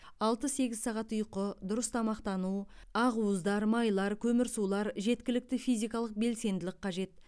алты сегіз сағат ұйқы дұрыс тамақтану ақуыздар майлар көмірсулар жеткілікті физикалық белсенділік қажет